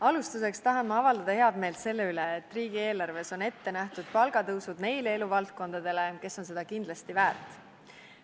Alustuseks tahan ma avaldada head meelt selle üle, et riigieelarves on ette nähtud palgatõusud nende eluvaldkondade esindajatele, kes on seda kindlasti väärt.